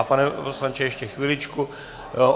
A pane poslanče, ještě chviličku.